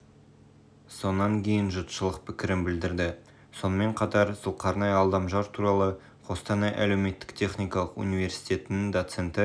сонан кейін жұртшылық пікірін білдірді сонымен қатар зұлқарнай алдамжар туралы қостанай әлеуметтік техникалық университетінің доценті